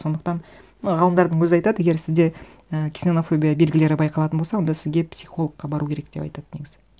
сондықтан і ғалымдардың өзі айтады егер сізде і ксенофобия белгілері байқалатын болса онда сізге пихологқа бару керек деп айтады негізі